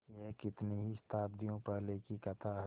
यह कितनी ही शताब्दियों पहले की कथा है